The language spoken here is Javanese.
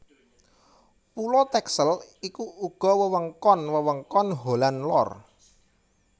Pulo Texel iku uga wewengkon wewengkon Holland Lor